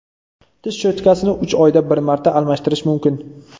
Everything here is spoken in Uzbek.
Tish cho‘tkasini uch oyda bir marta almashtirish mumkin.